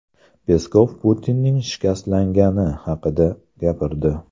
Peskov Putinning shikastlangani haqida gapirdi.